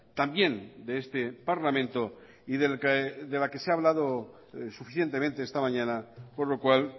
también de este parlamento y de la que se ha hablado suficientemente esta mañana por lo cual